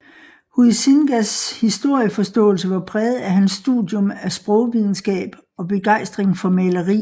Huizingas historieforståelse var præget af hans studium af sprogvidenskab og begejstring for maleri